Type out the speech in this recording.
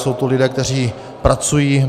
Jsou to lidé, kteří pracují.